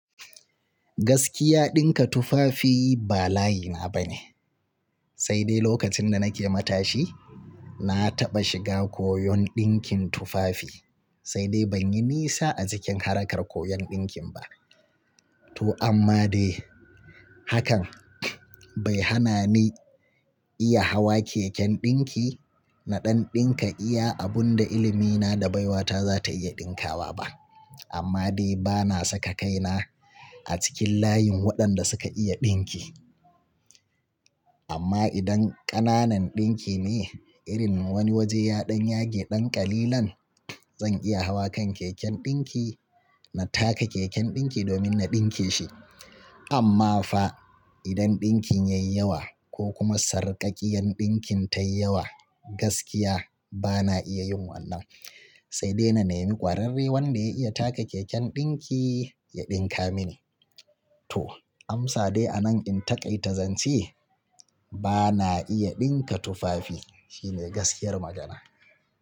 Gaskiya dinka tufafi ba layi na bane, sai dai lokacin da nake matashi na taɓa shiga koyon ɗinkin tufafi sai dai ban yi nisa a cikin harkar koyon ɗinkin ba. To amma dai hakan bai hana ni iya hawa keken ɗinki na ɗan ɗinka iya abun da ilimi na da baiwata za ta iya ɗinkawa ba. Amma dai bana saka kaina a cikin layin waɗanda suka iya ɗinki. Amma idan ƙananan ɗinki ne irin wani waje ya ɗan yage ɗan ƙalilan zan iya hawa kan keken ɗinki na taka keken ɗinki domin na ɗinke shi. Amma fa idan ɗinkin yayi yawa ko kuma sarƙaƙƙiyar ɗinkin tayi yawa gaskiya bana iya yin wannan sai dai na nemi ƙwararre wanda ya iya taka keken ɗinki ya ɗinka mini. To amsa dai anan in taƙaita zance bana iya dinka tufafi shine gaskiyar magana.